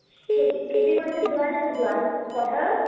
খেতি খেতি কৰিছে যোৱানে নোযোৱা পথাৰত